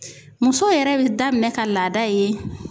Muso yɛrɛ bɛ daminɛ ka laada ye